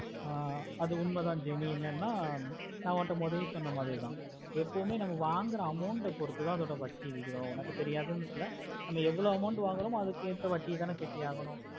ஆஹ் அது ஒன்னு தா jeni எண்ணனே ந உங்கிட்ட முதலிய சொன்ன மரித்த எப்போமே நம்ம வாங்குற amount ஆஹ் பொறுத்துத அதுக்கான வட்டி உன்னக்கு தெரியாதுன்னு இல்ல எவ்ளோ amount வாங்குறோமோ அதுக்கு எத வட்டி கட்டியக்கனும்